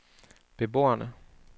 beboerne